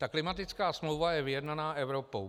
Ta klimatická smlouva je vyjednaná Evropou.